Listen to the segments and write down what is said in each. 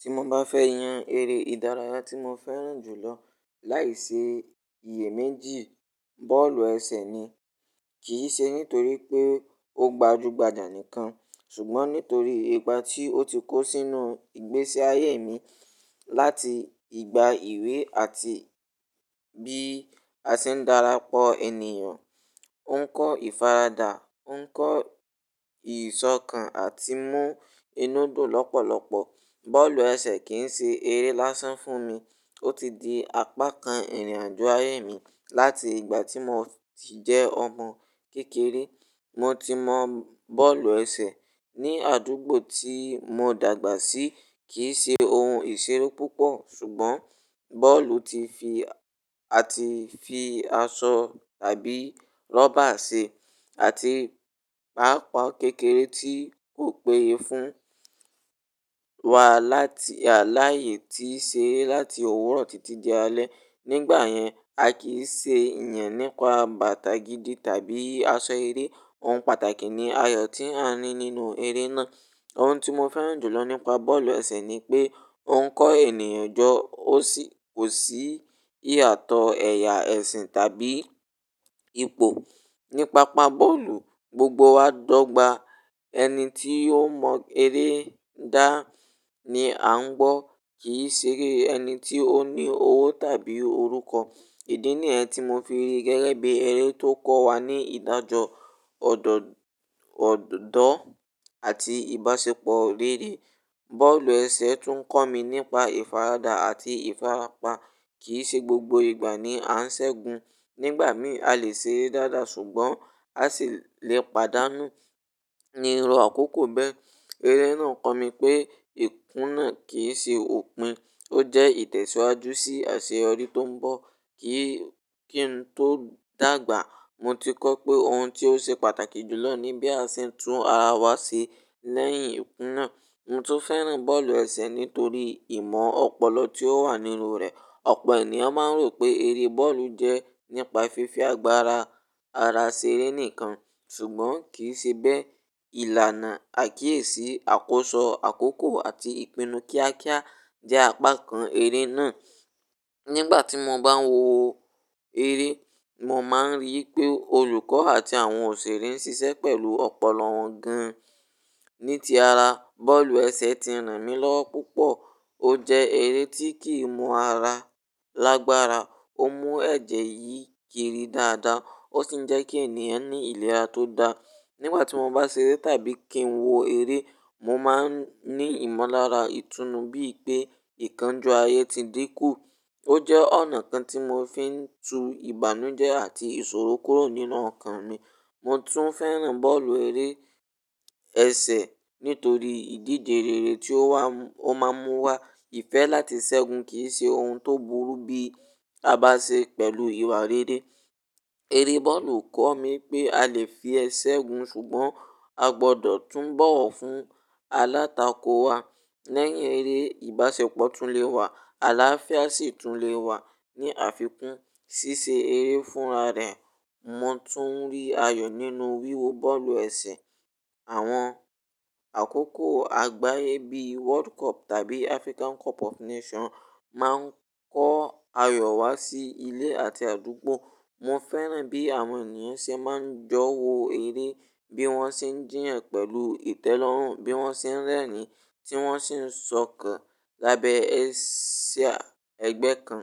Ti mo ba fe yan ere idaraya ti mo feran julo laisi iye meji, boolu ese ni. Kii se nitori pe o gbajugbaja nikan sugbon nitori igba ti o ti ko sinu igbesi aye mi lati igba iwe ati bi a se n dara po eniyan. O n ko ifarada, o n ko isokan ati mu inu dun lopolopo. Boolu ese kii se ere lasan fun mi. O ti di apakan irin ajo aye mi lati igba ti mo ti je omo kekere. Mo ti mo boolu ese ni adugbo ti mo dagba si. Kii se ohun isero pupo sugbon boolu ti fi ati fi aso tabi roba se ati paapaa kekere ti ko peye fun wa lati alaye ti se lati owuro titi di ale. Nigba yen, a kii se yen nipa bata gidi tabi aso ere. Ohun pataki ni ayo ti a ni ninu ere naa. Ohun ti mo feran julo nipa boolu ese ni pe o n ko eniyan jo. O si ko si iyato eya, esin tabi ipo. Nipapa boolu, gbogbo wa d'ogba. Eni ti o mo ere da ni a n gbọ. Kii sere eni ti o ni owo tabi oruko. Idi ni ẹ ti mo fi ri gẹgẹbi ere to ko wa ni idajọ, ọdọ ọdọ ati ibasepo rere. Boolu ese tun n ko mi nipa ifarada ati ifarapa. Kii se gbogbo igba ni a n segun. Nigba mi a le se dada sugbon a si le padanu. Ni irọ koko bẹ. Ere naa ko mi pe ikuna kii se opin. O jẹ itẹsiwaju si aṣeyọri to n bọ. Ki ki n to dagba, mo ti kọ pe ohun ti o ṣe pàtàkì jùlọ ni bí a ṣe ń tún ara wa ṣe lẹ́yìn ìkùnà. Mo tún fẹ́ràn bọ́ọ̀lù ẹsẹ nítorí ìmọ̀ ọ̀pọ̀lọpọ̀ tí ó wà nínú rẹ̀. Ọ̀pọ̀ ènìyàn máa ń rò pé eré bọ́ọ̀lù jẹ́ nípa fífi agbára ara ṣeré nìkan, ṣùgbọ́n kì í ṣe bẹ́ẹ̀. Ìlànà àkíyèsí, àkóso àkókò àti ìpinnu kíákíá jẹ́ apá kan eré náà. Nígbà tí mo bá ń wo eré, mo máa ń rí i pé olùkọ́ àti àwọn òṣèré ń ṣiṣẹ́ pẹ̀lú ọ̀pọ̀lọpọ̀ gan-an. Ní ti ara, bọ́ọ̀lù ẹsẹ ti ràn mí lọ́wọ́ púpọ̀. Ó jẹ́ eré tí kìí mú ara lágbára, ó mú ẹ̀jẹ̀ yí kiri dáadáa, ó sì ń jẹ́ kí ènìyàn ní ìlera tó dáa. Nígbà tí mo bá ń ṣeré tàbí kí ń wo eré, mo máa ń ní ìmọ̀lára ìtùnú bí i pé ìkánjú ayé ti dínkù. Ó jẹ́ ọ̀nà kan tí mo fi ń tu ìbànújẹ́ àti ìṣòro kúrò nínú ọkàn mi. Mo tún fẹ́ràn bọ́ọ̀lù ẹsẹ nítorí ìdíje rere tí ó máa ń mú wá. Ìfẹ́ láti ṣẹ́gun kì í ṣe ohun tó burú bí a bá ṣe pẹ̀lú ìwà rere. Eré bọ́ọ̀lù kọ́ mi pé a lè fi ẹ ṣẹ́gun, ṣùgbọ́n a gbọdọ̀ tún bọ̀wọ̀ fún alátakò wa. Lẹ́yìn eré, ìbáṣepọ̀ tún le wà. Aláfíà sì tún le wà. Ní àfikún, ṣíṣe eré ń fúnra rẹ̀. Mo tún rí ayọ̀ nínú wíwo bọ́ọ̀lù ẹsẹ. Àwọn àkókò àgbáyé bí World Cup tàbí African Cup of Nations máa ń kó ayọ̀ wá sí ilé àti àdúgbò. Mo fẹ́ràn bí àwọn ènìyàn ṣe máa ń jọ wo eré, bí wọ́n ṣe ń jíyàn pẹ̀lú ìtẹ́lọ́rùn, bí wọ́n ṣe ń rẹ́ẹ̀ni, tí wọ́n sì ń sọ̀kàn lábẹ́ ẹ̀sìà ẹgbẹ́ kan.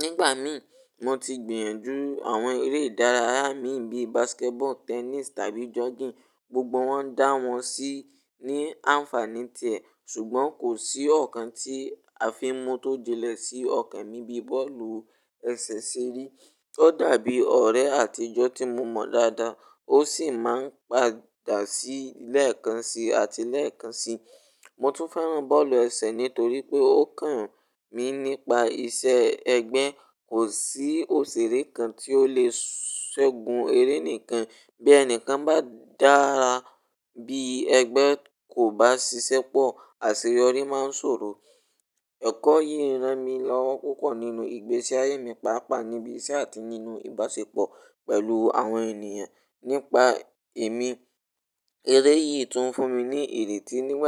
Nígbà mí, mo ti gbìyànjú àwọn eré ìdárayá mi bíi basketball, tennis tàbí jogging. Gbogbo wọn dá wọn sí ní àǹfàní tẹ̀, ṣùgbọ́n kò sí ọ̀kan tí àfin mú tó jẹ́ ẹ̀ sí ọ̀kan mí bíi bọ́ọ̀lù ẹsẹ ṣe rí. Ó dàbí ọ̀rẹ́ àtijọ́ tí mo mọ̀ dáadáa, ó sì máa ń padà sílẹ̀ kan sí àti lẹ́ẹ̀kan sí. Mo tún fẹ́ràn bọ́ọ̀lù ẹsẹ nítorí pé ó kọ̀ mí nípa ìṣe ẹgbẹ́. Kò sí òṣèré kan tí ó lè ṣẹ́gun eré nìkan. Bí ẹnìkan bá dára, bí ẹgbẹ́ kò bá ṣiṣẹ́ pọ̀, àṣeyọrí máa sòro. Ẹ̀kọ́ yìí rán mi lọ́wọ́ púpọ̀ nínú ìgbésí ayé mi, pàápàá níbí iṣẹ́ àti nínú ìbáṣepọ̀ pẹ̀lú àwọn ènìyàn. Nípa èmi, eré yìí tún fún mi ní èrè tí níwọ́n.